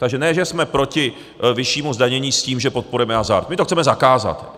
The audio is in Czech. Takže ne že jsme proti vyššímu zdanění s tím, že podporujeme hazard, my to chceme zakázat!